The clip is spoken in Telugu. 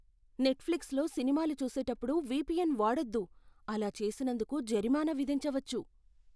నెట్ఫ్లిక్స్లో సినిమాలు చూసేటప్పుడు విపిఎన్ వాడొద్దు. అలా చేసినందుకు జరిమానా విధించవచ్చు.